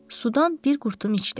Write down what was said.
Sudan bir qurtum içdi.